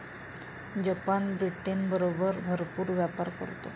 Japan ब्रिटनबरोबर भरपूर व्यापार करतो.